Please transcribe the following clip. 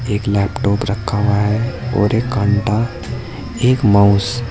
एक लैपटॉप रखा हुआ है और एक काउन्टर एक माउस --